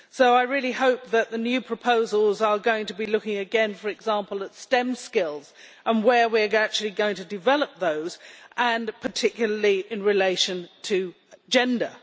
I really hope that the new proposals are going to be looking again, for example, at STEM skills, and where we are actually going to develop those, particularly in relation to gender.